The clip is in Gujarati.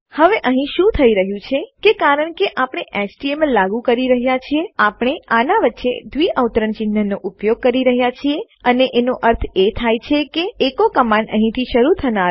હવે અહીં શું થઇ રહ્યું છે કે કારણ કે આપણે એચટીએમએલ એચટીએમએલ લાગુ કરી રહ્યા છીએ આપણે આના વચ્ચે ડબલ ક્વોટ્સ દ્વિઅવતરણ ચિન્હનો ઉપયોગ કરી રહ્યા છીએ અને એનો અર્થ એ થાય છે કે એકો કમાંડને અહીંથી શરૂ થનારું અને અહીં અંત થનારું સમજવામાં આવશે